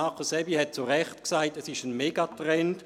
Markus Aebi hat zu Recht gesagt, es sei ein Megatrend.